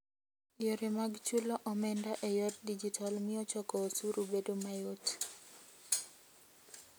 Yore mag chulo omenda e yor digital miyo choko osuru bedo mayot.